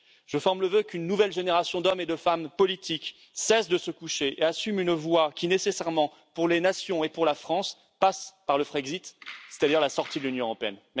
Je forme le vœu qu'une nouvelle génération d'hommes et de femmes politiques cesse de se coucher et assume une voie qui, nécessairement, pour les nations et pour la France, passe par le Frexit, c'est à dire la sortie de l'Union européenne.